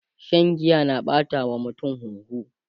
Shan giya na ɓata wa mutum huhu